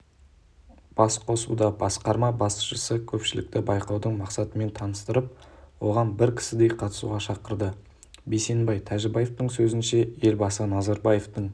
басқосудабасқарма басшысы көпшілікті байқаудың мақсатымен таныстырып оған бір кісідей қатысуға шақырды бейсенбай тәжібаевтың сөзінше елбасы назарбаевтың